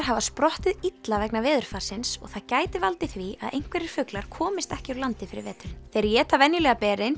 hafa sprottið illa vegna veðurfarsins og það gæti valdið því að einhverjir fuglar komist ekki úr landi fyrir veturinn þeir éta venjulega berin